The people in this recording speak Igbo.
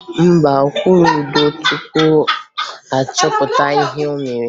Mba, ọ kwụrụ ụdọ tupu a chọpụta ihe o mere